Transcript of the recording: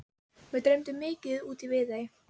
Mig dreymdi mikið út í Viðey.